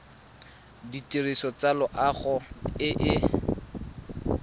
ditirelo tsa loago e e